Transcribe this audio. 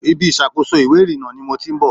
Ibi ìṣàkóso ìwé ìrìnnà ni mo ti ń bọ̀.